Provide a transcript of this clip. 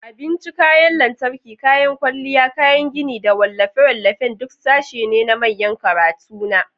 Abinci, kayan lantarki, kayan kwalliya, kayan gini, da wallafe-wallafen duk sashe ne na manyan kantuna.